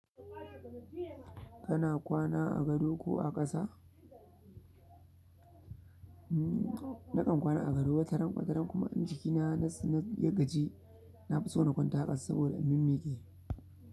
Kana kwana a gado ko a ƙasa? Nakan kwana a gado wataran wataran kuma in jikina na son na ya gaji, na fi so na kwanta a ƙasa saboda na mimmiƙe.